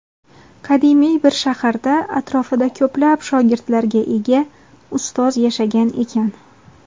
qadimiy bir shaharda atrofida ko‘plab shogirdlarga ega Ustoz yashagan ekan.